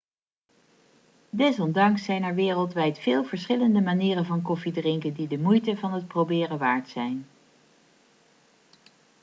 desondanks zijn er wereldwijd veel verschillende manieren van koffie drinken die de moeite van het proberen waard zijn